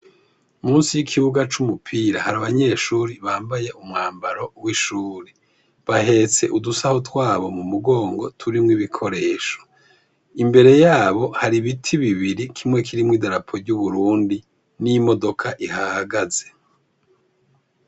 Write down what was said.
Musi y'ikibuga c'umupira hari abanyeshuri bambaye umwambaro w'ishuri bahetse udusaho twabo mu mugongo turimwo ibikoresho imbere yabo hari ibiti bibiri kimwe kirimwo i darapo ry'uburundi n'imodoka ihagaze.